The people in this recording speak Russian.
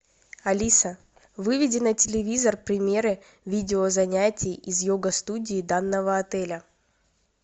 алиса выведи на телевизор примеры видео занятий из йога студии данного отеля